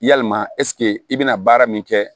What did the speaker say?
Yalima ɛsike i be na baara min kɛ